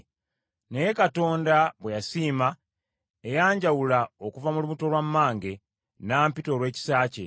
Naye Katonda bwe yasiima, eyanjawula okuva mu lubuto lwa mmange, n’ampita olw’ekisa kye,